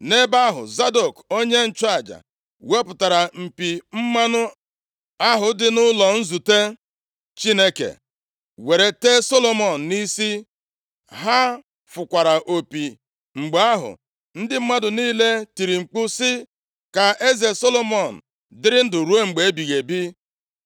Nʼebe ahụ, Zadọk onye nchụaja wepụtara mpi mmanụ + 1:39 Mmanụ a, bụ ụdị mmanụ otiti ahụ Chineke nyere Mosis iwu ka o mee nʼAkwụkwọ \+xt Ọpụ 30:22-33\+xt* ahụ dị nʼụlọ nzute + 1:39 Ụlọ nzute, bụ ụlọ ikwu ahụ Devid wuru maka i dọba igbe ọgbụgba ndụ Chineke. Mgbe ahụ, ụlọ nzute ahụ ka dị na Gibiọn. \+xt 1Ez 3:4; 2Sa 6:17\+xt* Chineke, were tee Solomọn nʼisi. Ha fụkwara opi. Mgbe ahụ, ndị mmadụ niile tiri mkpu sị, “Ka eze Solomọn dịrị ndụ ruo mgbe ebighị ebi.”